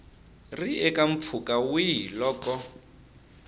ri eka mpfhuka wihi loko